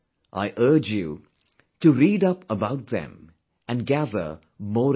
I urge you to read up about them and gather more information